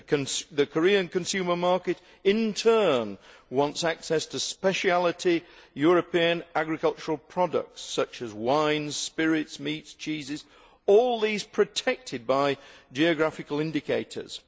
The Korean consumer market, in turn, wants access to speciality European agricultural products, such as wines, spirits, meats, cheeses, all protected by geographical indicators.